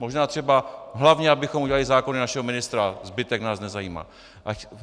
Možná třeba hlavně abychom udělali zákony našeho ministra, zbytek nás nezajímá.